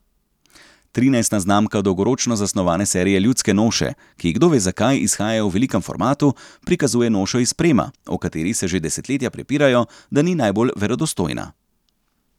Trinajsta znamka dolgoročno zasnovane serije Ljudske noše, ki kdo ve zakaj izhajajo v velikem formatu, prikazuje nošo iz Prema, o kateri se že desetletja prepirajo, da ni najbolj verodostojna.